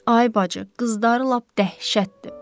Ay bacı, qızları lap dəhşətdir.